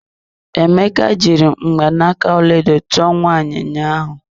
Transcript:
Emeka jiri mgbanaka ọlaedo tụọ nwunye ya ụnyaahụ.